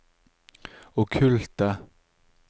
okkulte